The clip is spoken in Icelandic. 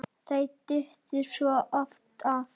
Þau duttu svo oft af.